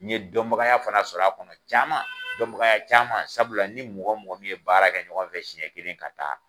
N ye dɔnbagaya fana sɔr'a kɔnɔ caaman, dɔnbagaya caaman sabula n ni mɔgɔ mɔgɔ min ye baara kɛ ɲɔgɔn fɛ siɲɛ kelen ka taa